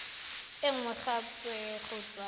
e nngwe gape go tswa